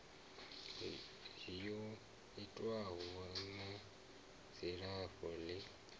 yo itwaho na dzilafho ḽi